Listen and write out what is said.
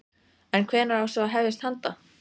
En hvenær á svo að hefjast handa?